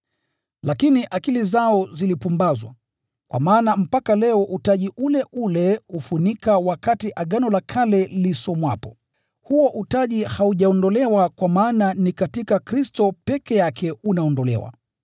Lakini akili zao zilipumbazwa, kwa maana mpaka leo utaji ule ule hufunika wakati Agano la Kale linasomwa. Huo utaji haujaondolewa, kwa maana ni katika Kristo peke yake unaondolewa.